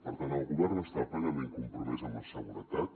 per tant el govern està plenament compromès amb la seguretat